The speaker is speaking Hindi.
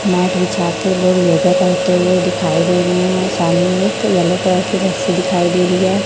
मैडम छात्र लोग योगा करते हुए दिखाई दे रही हैं सामने एक येलो कलर की रस्सी दिखाई दे रही है।